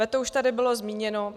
Veto už tady bylo zmíněno.